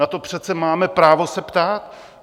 Na to přece máme právo se ptát!